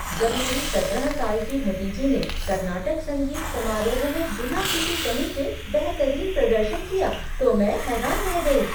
जब मेरी सत्रह साल की भतीजी ने कर्नाटक संगीत समारोह में बिना किसी कमी के बेहतरीन प्रदर्शन किया तो मैं हैरान रह गई।